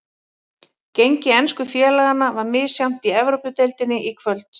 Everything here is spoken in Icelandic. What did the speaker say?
Gengi ensku félaganna var misjafnt í Evrópudeildinni í kvöld.